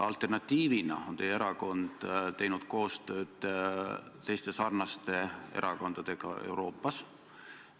Alternatiivina on teie erakond teinud koostööd teiste sarnaste erakondadega Euroopas.